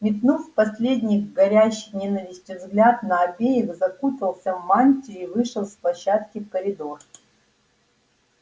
метнув последний горящий ненавистью взгляд на обеих закутался в мантию и вышел с площадки в коридор